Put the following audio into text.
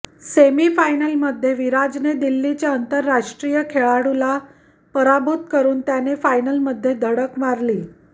सेमीफायनलमध्ये विराजने दिल्लीच्या आंतरराष्ट्रीय खेळाडूला पराभूत करून त्याने फायनलमध्ये धडक मारली